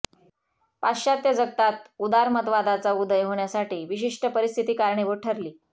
पाश्चात्त्य जगतात उदारमतवादाचा उदय होण्यासाठी विशिष्ट परिस्थिती कारणीभूत ठरली